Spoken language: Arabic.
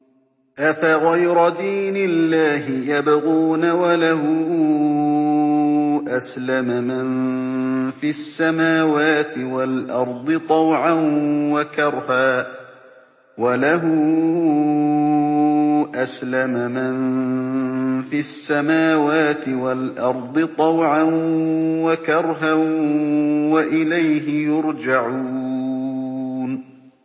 أَفَغَيْرَ دِينِ اللَّهِ يَبْغُونَ وَلَهُ أَسْلَمَ مَن فِي السَّمَاوَاتِ وَالْأَرْضِ طَوْعًا وَكَرْهًا وَإِلَيْهِ يُرْجَعُونَ